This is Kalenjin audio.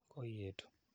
Koi etu.